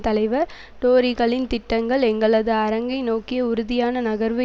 தலைவர் டோரிகளின் திட்டங்கள் எங்களது அரங்கை நோக்கிய உறுதியான நகர்வு